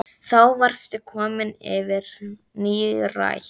Þá varstu komin yfir nírætt.